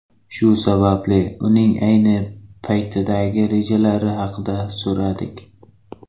Shu sababli uning ayni paytdagi rejalari haqida so‘radik.